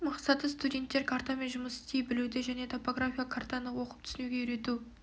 мақсаты студенттер картамен жұмыс істей білуді және топографиялық картаны оқып түсінуге үйрету